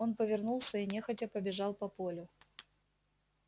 он повернулся и нехотя побежал по полю